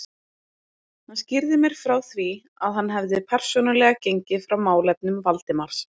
Hann skýrði mér frá því, að hann hefði persónulega gengið frá málefnum Valdimars.